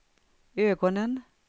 ögonen